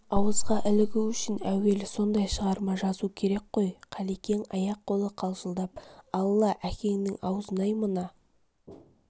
ауызға ілігу үшін әуелі сондай шығарма жазу керек қой қалекең аяқ-қолы қалшылдап алла әкеңнің аузын-ай мына